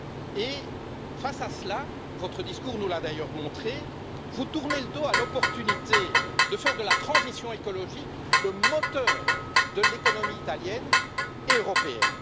Et, face à cela, votre discours nous l'a d'ailleurs montré, vous tournez le dos à l'opportunité de faire de la transition écologique le moteur de l'économie italienne et européenne.